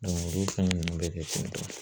olu fɛn ninnu bɛ kɛ